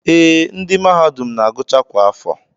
Ee, ndị mahadum na-agụcha kwa afọ